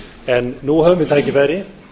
en nú höfum við tækifæri